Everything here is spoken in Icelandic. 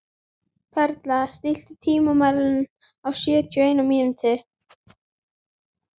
Perla, stilltu tímamælinn á sjötíu og eina mínútur.